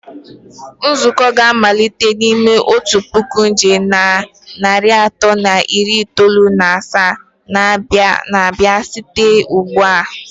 Nzukọ a ga-amalite n'ime otu puku nkeji na narị atọ na iri itoolu na asaa na-abịa site ugbu a.